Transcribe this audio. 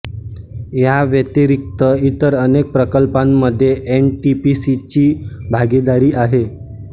ह्यांव्यतिरिक्त इतर अनेक प्रकल्पांमध्ये एन टी पी सी ची भागेदारी आहे